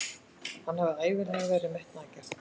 Hann hefur ævinlega verið metnaðargjarn.